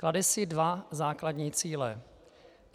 Klade si dva základní cíle.